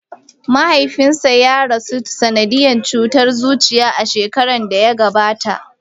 Mahaifinsa ya rasu ta sanadiyan cutar zuciya, a shekaran da ya gabata.